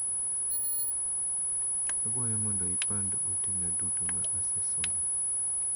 Akwayo mondo ipandd ote na duto ma asesomo.